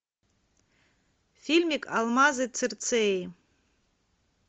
фильмик алмазы цирцеи